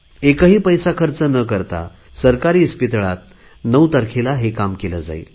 एकही पैसा खर्च न करता सरकारी हॉस्पिटलमध्ये नऊ तारखेला हे काम केले जाईल